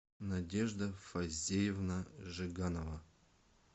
надежда фазеевна жиганова